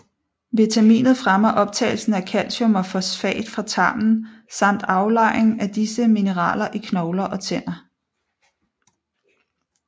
Vitaminet fremmer optagelsen af calcium og fosfat fra tarmen samt aflejring af disse mineraler i knogler og tænder